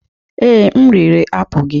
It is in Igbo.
Ee, m riri apụl gị.